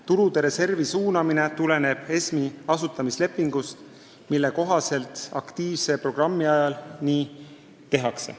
Tulude reservi suunamine tuleneb ESM-i asutamislepingust, mille kohaselt aktiivse programmi ajal nii tehakse.